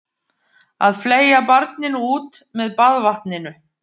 Að fleygja barninu út með baðvatninu